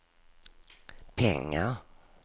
pengar